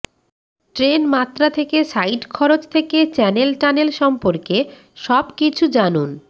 train মাত্রা থেকে side খরচ থেকে চ্যানেল টানেল সম্পর্কে সবকিছু জানুন